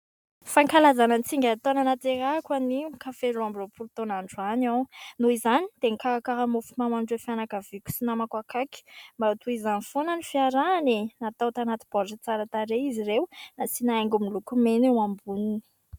Fankalazana ny tsingerin-taona nahaterahako anio ka feno roa amby roapolo taona androany aho, noho izany dia nikarakara mofomamy ho an'ireo fianakaviako sy namako akaiky mba ho toy izany foana ny fiarahana e ! Natao tanaty baoritra tsara tarehy izy ireo, nasiana haingony miloko mena eo amboniny.